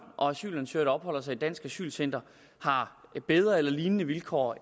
og asylansøgere der opholder sig i danske asylcentre har bedre eller lignende vilkår